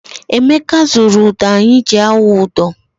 Emeka zụrụ ụdọ anyị ji awụ ụdọ.